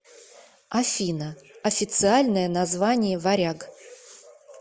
афина официальное название варяг